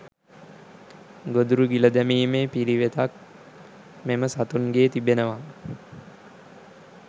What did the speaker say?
ගොදුරු ගිල දැමීමේ පිළිවෙතක් මෙම සතුන්ගේ තිබෙනවා.